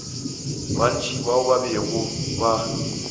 bantši bao ba bego ba